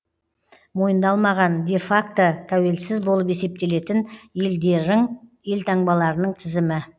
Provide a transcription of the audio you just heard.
мойындалмаған де факто тәуелсіз болып есептелетін елдерің елтаңбаларының тізімі